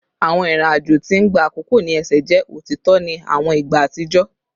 Awọn irin ajo ti n gba akoko ni ẹsẹ jẹ otitọ ni awọn igba atijọ